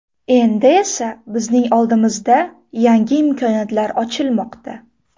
Endi esa bizning oldimizda yangi imkoniyatlar ochilmoqda.